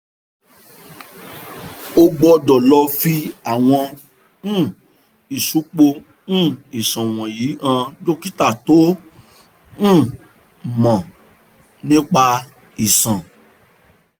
o gbọ́dọ̀ lọ fi àwọn um ìsupo um iṣan wọ̀nyí hàn dókítà tó um mọ̀ nípa iṣan